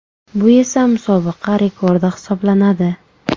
Bu esa musobaqa rekordi hisoblanadi.